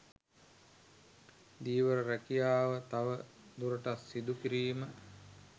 ධීවර රැකියාව තව දුරටත් සිදු කිරීම